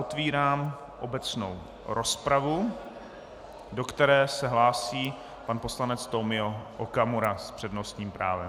Otevírám obecnou rozpravu, do které se hlásí pan poslanec Tomio Okamura s přednostním právem.